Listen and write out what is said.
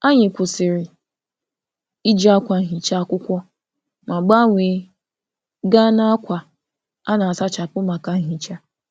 Anyị kwụsịrị iji akwa nhicha akwụkwọ ma gbanwee gaa n'akwa a na-asachapụ maka nhicha.